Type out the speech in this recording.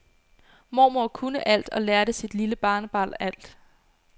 Mormor kunne alt og lærte sit lille barnebarn alt.